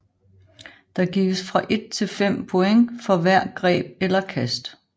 Der gives fra et til fem point for hver greb eller kast